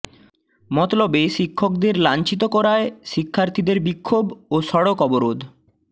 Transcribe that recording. মতলবে শিক্ষকদের লাঞ্ছিত করায় শিক্ষার্থীদের বিক্ষোভ ও সড়ক অবরোধ